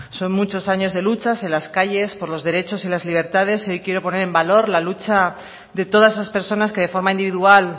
son muchos años de luchas en las calles por los derechos y las libertades y hoy quiero poner en valor la lucha de todas esas personas que de forma individual